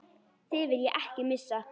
Þig vil ég ekki missa.